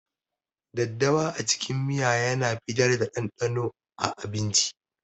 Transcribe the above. daddawa a cikin miya yana fitar da ɗanɗanon a abinci.